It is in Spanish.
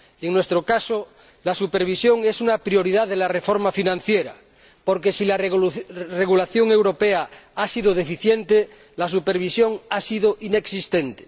En nuestro caso, la supervisión es una prioridad en la reforma financiera porque, si la regulación europea ha sido deficiente, la supervisión ha sido inexistente.